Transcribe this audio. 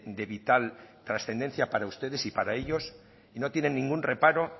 de vital trascendencia para ustedes y para ellos y no tienen ningún reparo